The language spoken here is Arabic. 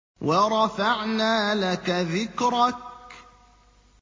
وَرَفَعْنَا لَكَ ذِكْرَكَ